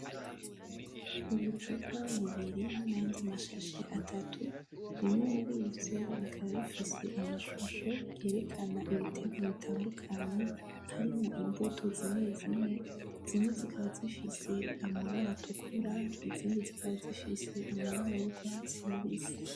Ubucupa bubiri nayandi mashashe atatu. Bimwe murivyo bikaba bifise amashusho yerekana ibiterwa bitandukanye harimwo imbuto zimwe zimwe. Zimwe zikaba zifise amabara atukura, izindi zikaba zifise amabara yurwatsi rubisi.